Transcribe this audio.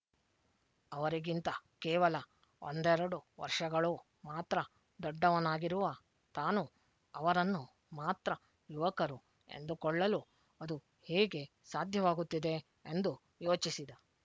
ಅವರಿಗಿಂತ ಕೇವಲ ಒಂದೆರಡು ವರ್ಷಗಳು ಮಾತ್ರ ದೊಡ್ಡವನಾಗಿರುವ ತಾನು ಅವರನ್ನು ಮಾತ್ರ ಯುವಕರು ಎಂದುಕೊಳ್ಳಲು ಅದು ಹೇಗೆ ಸಾಧ್ಯವಾಗುತ್ತಿದೆ ಎಂದು ಯೋಚಿಸಿದ